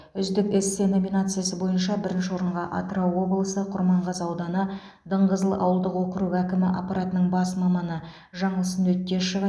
үздік эссе номинациясы бойынша бірінші орынға атырау облысы құрманғазы ауданы дыңғызыл ауылдық округі әкімі аппаратының бас маманы жаңылсын өттешова